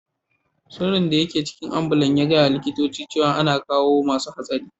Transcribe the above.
Sirin daga ambulan ya gaya ma likitocin cewa ana kawo masun hatsari.